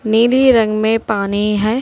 नीले रंग में पानी है।